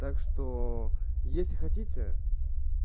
так что если хотите